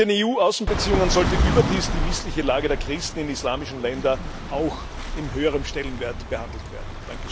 In den EU Außenbeziehungen sollte überdies auch die missliche Lage der Christen in islamischen Ländern auch mit höherem Stellenwert behandelt werden.